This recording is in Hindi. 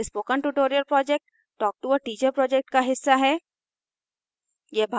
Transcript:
spoken tutorial project talktoa teacher project का हिस्सा है